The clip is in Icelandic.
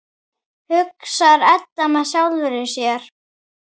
hugsar Edda með sjálfri sér.